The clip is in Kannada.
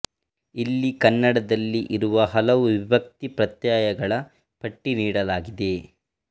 ಇಲ್ಲಿ ಕನ್ನಡದಲ್ಲಿ ಇರುವ ಹಲವು ವಿಭಕ್ತಿ ಪ್ರತ್ಯಯಗಳ ಪಟ್ಟಿ ನೀಡಲಾಗಿದೆ